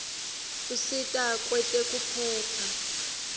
usita kwetekuphepha